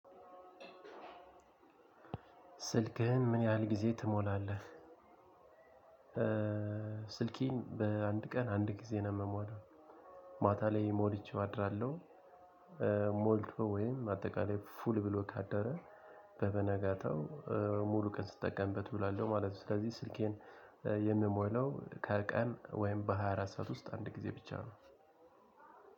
ስልክህን ምን ያህል ጊዜ ትሞላለህ? ስልኬን በአንድ ቀን አንድ ጊዜ ነው የምሞላው ማታ ላይ ሞልቼው አድራለሁ ሞልቶ ወይም አጠቃላይ ፉል ብሎ ካደረ በበነጋታው ሙሉ ቀን ስትጠቀምበት ዉላለው ማለት ነው ስለዚህ ስልኬን የምሞለው ከቀን ወይም በሃያ አራት ሰዓት ውስጥ አንድ ጊዜ ብቻ ነው።